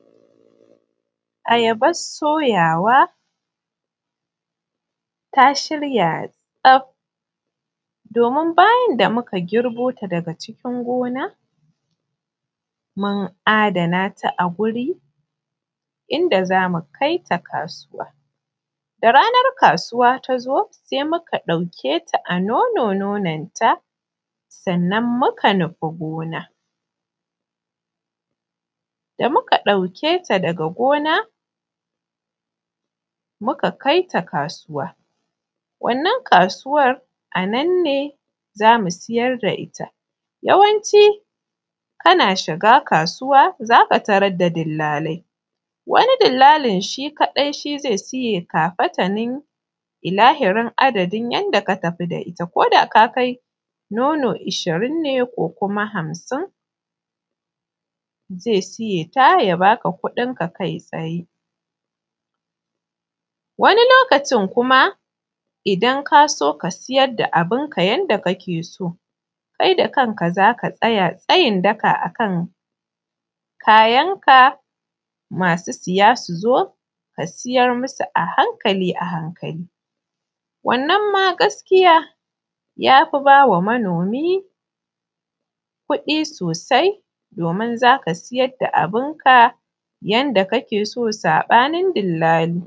Ayabas soyawa ta shirya tsaf domin bayan da muka girbo ta daga cikin gona mun adana ta a wuri inda za mu kai ta kasuwa da zaran ranar kasuwa ta zo sai muka ɗauke ta a nonon ta muka nufa kasuwa da muka dauke ta daga gona muka kai ta kasuwa. Wannan kasuwan daga nan ne za mu siyar da ita yawanci kana shiga kasuwa za ka tarar da dillali wani dilllalin shi kadai zai siye ilahirin abun a ka tafi da shi koda ya kai nono hamsin zai siye ta ya ba ka kudin ka kai tsaye. Wani lokacin kuma idan ka so ka siyar da abun ka yadda kake so kai da kanaka za ka tsaya tsayin daka akan kayan ka masu siyan su zo ka siyar musu a hankali wannan ma gaskiya ya fi ba wa manomi riba sosai domin za ka siyar da abun ka yadda kake so sabanin dillali.